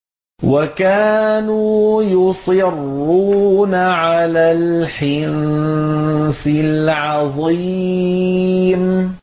وَكَانُوا يُصِرُّونَ عَلَى الْحِنثِ الْعَظِيمِ